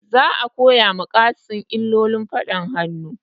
Za a koya wa Kassim illolin faɗan hannu